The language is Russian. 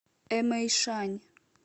эмэйшань